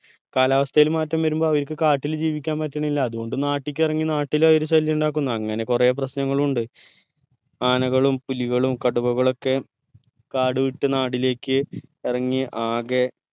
കാലാവസ്ഥയിൽ മാറ്റം വരുമ്പോ അവര്ക്ക് കാട്ടിൽ ജീവിക്കാൻ പറ്റണില്ല അതുകൊണ്ട് നാട്ടിക്ക് ഇറങ്ങി നാട്ടിൽ അവര് ശല്യം ഉണ്ടാക്കുന്നു അങ്ങനെ കൊറേ പ്രശ്‌നങ്ങൾ ഉണ്ട് ആനകളും പുലികളും കടുവകളൊക്കെ കാടുവിട്ട് നാടിലേക്ക് ഇറങ്ങി ആകെ